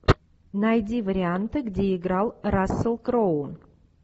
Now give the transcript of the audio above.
найди варианты где играл рассел кроу